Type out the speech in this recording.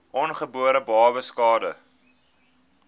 ongebore babas skade